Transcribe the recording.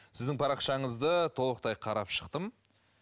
сіздің парақшаңызды толықтай қарап шықтым